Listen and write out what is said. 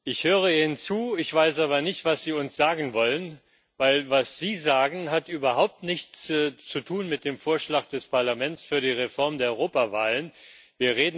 Ich höre Ihnen zu, ich weiß aber nicht, was Sie uns sagen wollen, denn das, was Sie sagen, hat überhaupt nichts mit dem Vorschlag des Parlaments für die Reform der Europawahlen zu tun.